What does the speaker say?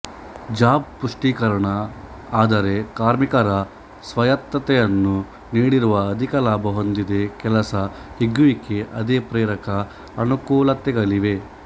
job ಪುಷ್ಟೀಕರಣ ಆದರೆ ಕಾರ್ಮಿಕರ ಸ್ವಾಯತ್ತತೆಯನ್ನು ನೀಡಿರುವ ಅಧಿಕ ಲಾಭ ಹೊಂದಿದೆ ಕೆಲಸ ಹಿಗ್ಗುವಿಕೆ ಅದೇ ಪ್ರೇರಕ ಅನುಕೂಲತೆಗಳಿವೆ